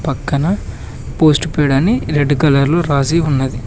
పక్కన postpaid అని red colour లో రాసి ఉన్నది.